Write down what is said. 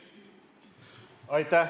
Aitäh!